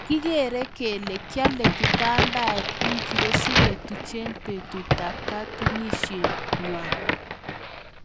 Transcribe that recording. Kikeree kelee kialee kitambaet ingiroo siketuchee petut ap katunisiet ngwaang